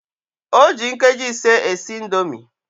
O ji nkeji ise esi indomi